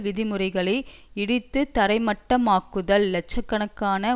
விதிமுறைகளை இடித்துத்தரை மட்டமாக்குதல் இலட்ச கணக்கான